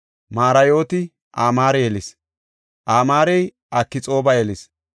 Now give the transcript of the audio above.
Marayooti Amaare yelis; Amaarey Akxooba yelis;